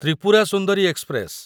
Tripura Sundari express